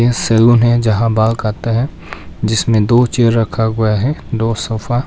salon है जहां बाल काटते है जिसमें दो चेयर रखा हुआ है दो सोफा --